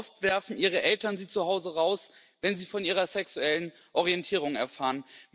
Oft werfen ihre Eltern sie zu Hause raus, wenn sie von ihrer sexuellen Orientierung erfahren.